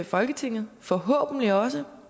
folketinget forhåbentlig også